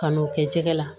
Ka n'o kɛ jɛgɛ la